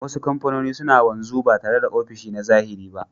Wasu kamfanoni suna wanzu ba tare da ofishi na zahiri ba